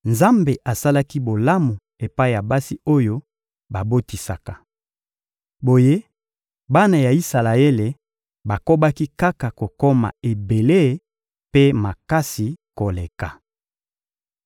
Nzambe asalaki bolamu epai ya basi oyo babotisaka. Boye bana ya Isalaele bakobaki kaka kokoma ebele mpe makasi koleka.